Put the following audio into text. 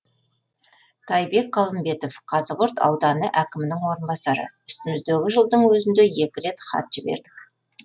тайбек қалымбетов қазығұрт ауданы әкімінің орынбасары үстіміздегі жылдың өзінде екі рет хат жібердік